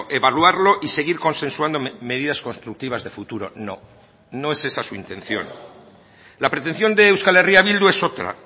evaluarlo y seguir consensuando medidas constructivas de futuro no no es esa su intención la pretención de euskal herria bildu es otra